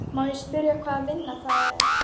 Má ég spyrja hvaða vinna það er?